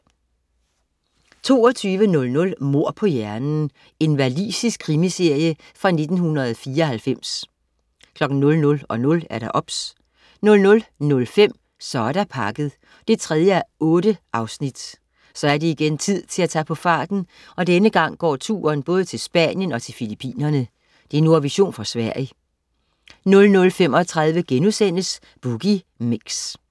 22.00 Mord på hjernen. Walisisk krimiserie fra 1994 00.00 OBS 00.05 Så er der pakket 3:8 Så er det igen tid til at tage på farten, og denne gang går turen både til Spanien og til Filippinerne. Nordvision fra Sverige 00.35 Boogie Mix*